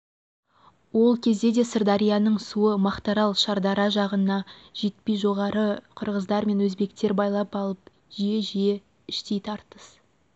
ол кезде де сырдарияның суы мақтарал шардара жағына жетпей жоғарыда қырғыздар мен өзбектер байлап алып жиі-жиі іштей тартыс